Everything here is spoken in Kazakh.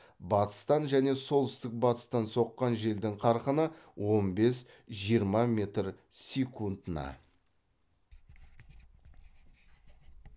батыстан және солтүстік батыстан соққан желдің қарқыны он бес жиырма метр секундына